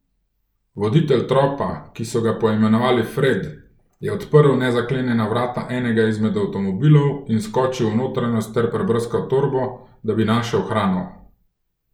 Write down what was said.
Voditelj tropa, ki so ga poimenovali Fred, je odprl nezaklenjena vrata enega izmed avtomobilov in skočil v notranjost ter prebrskal torbo, da bi našel hrano.